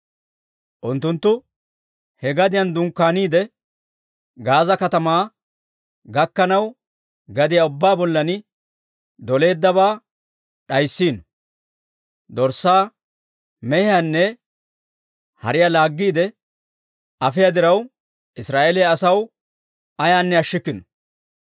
Unttunttu he gadiyaan dunkkaaniide, Gaaza katamaa gakkanaw, gadiyaa ubbaa bollan doleeddabaa d'ayssino; dorssaa, mehiyaanne hariyaa laaggiide afiyaa diraw, Israa'eeliyaa asaw ayaanne ashshikkino.